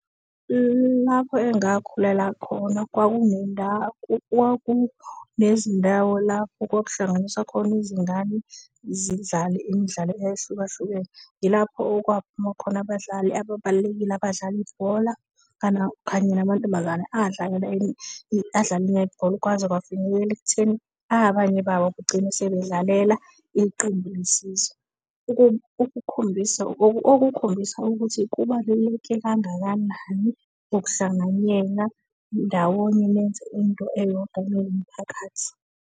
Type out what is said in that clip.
Lapho engakhulela khona kwaku nendawo, kwaku nezindawo lapho kwaku hlanganiswa khona izingane zidlale imidlalo eyahlukahlukene. Yilapho okwaphuma khona abadlali ababalulekile, abadlala ibhola kanye namantombazane adlalela adlala i-netball. Kwaze kwafinyelela ekutheni abanye babo begcine sebedlalela iqembu lesizwe okukhombisa ukuthi kubaluleke kangakanani ukuhlanganyela ndawonye nenze into eyodwa niwumphakathi.